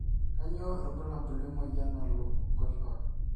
kanyio irbulabul le moyian nalo nkoshuak